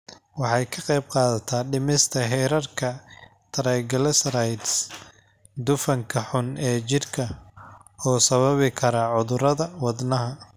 Waxay ka qaybqaadataa dhimista heerarka triglycerides, dufanka xun ee jirka oo sababi kara cudurrada wadnaha.